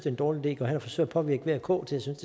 en dårlig idé går hen og forsøger at påvirke v og k til at synes